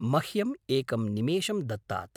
मह्यम् एकं निमेषं दत्तात्।